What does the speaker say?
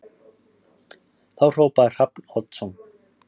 Þá hrópaði Hrafn Oddsson